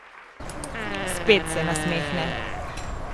Spet se nasmehne.